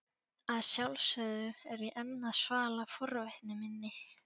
Að sjálfsögðu er ég enn að svala forvitni minni.